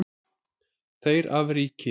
Þeir af ríki